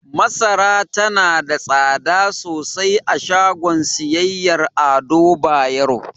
Masara tana da tsada sosai a shagon siyayyar Ado Bayero.